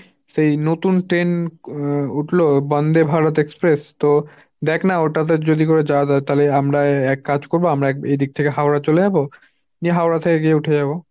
সেই নতুন ট্রেন উঠল Bandebharat express, তো দেখ না ওটাতে যদি করে যাওয়া যায় তালে আমরা এক কাজ করবো আমরা এদিক থেকে হাওড়া চলে যাব, নিয়ে হাওড়া থেকে গিয়ে উঠে যাব।